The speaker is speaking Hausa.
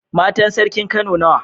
Matan sarkin kano nawa?